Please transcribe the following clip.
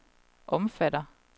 omfatter